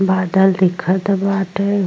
बादल दिखत बाटे।